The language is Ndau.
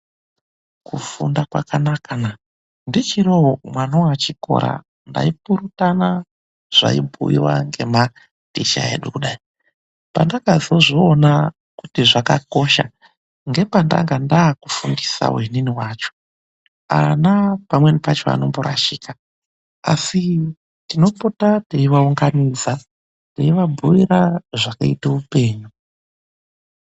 kufunda kwakanaka na ndichiriwo mwana wechikora taipurutana zvaibhuiwa nematicha edu kudai, pandakazozviona kuti zvakakosha ndanga ndakufundisawoinini wacho ana pamweni pacho anomborashika toopota tei vaunganidza tei vabhuira zvakaita hupeyu